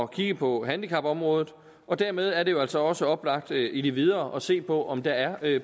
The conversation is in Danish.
kigge på handicapområdet og dermed er det jo altså også oplagt i det videre at se på om der er